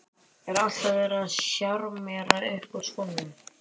Er alltaf verið að sjarmera upp úr skónum?